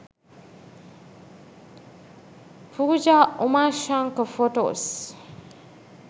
pooja umashankar photos